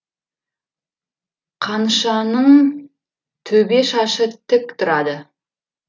қанышаның төбе шашы тік тұрады